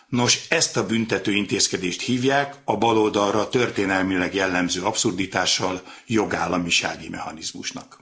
Nos, ezt a büntetőintézkedést hívják a baloldalra történelmileg jellemző abszurditással jogállamisági mechanizmusnak.